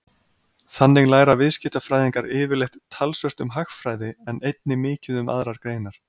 Þannig læra viðskiptafræðingar yfirleitt talsvert um hagfræði en einnig mikið um aðrar greinar.